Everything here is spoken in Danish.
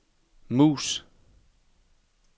mus